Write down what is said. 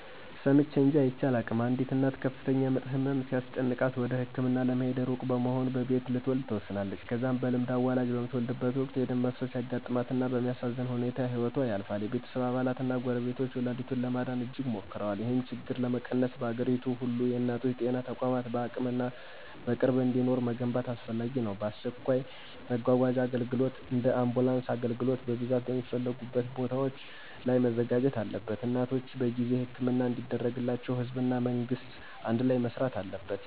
ሰምቼ እንጅ አይቼ አላውቅም፣ አንዲት እናት ከፍተኛ ምጥ ህመም ሲያስጨንቃት እና ወደ ህክምና ለመሄድ እሩቅ በመሆኑ በቤት ልትወለድ ትወስናለች። ከዛ በልምድ አዋላጅ በምትወልድበት ወቅት የደም መፍሰስ ያጋጥማት እና በሚያሳዝን ሁኔታ ህይወቶ ያልፋል። የቤተሰብ አባላት እና ጎረቤቶች ወላዲቱን ለማዳን እጅግ ሞክረዋል። ይህን ችግር ለመቀነስ፣ በአገሪቱ ሁሉ የእናቶች ጤና ተቋማትን በአቅምና በቅርብ እንዲኖሩ መገንባት አስፈላጊ ነው። አስቸኳይ መጓጓዣ አገልግሎት (እንደ አምቡላንስ) ለአገልግሎት በብዛት በሚፈለጉ ቦታዎች ላይ መዘጋጀት አለበት። እናቶች በጊዜ ሕክምና እንዲደረግላቸው ህዝብ እና መንግስት አንድላይ መሥሪት አለበት።